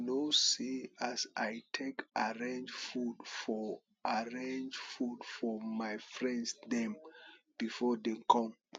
you no see as i take arange food for arange food for my friends dem before dem come